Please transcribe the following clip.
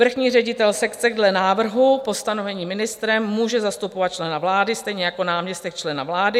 Vrchní ředitel sekce dle návrhu po stanovení ministrem může zastupovat člena vlády, stejně jako náměstek člena vlády.